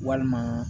Walima